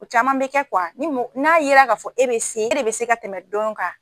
O caman bɛ kɛ ni mɔ n'a yera k'a fɔ e bɛ se e de bɛ se ka tɛmɛ dɔ kan.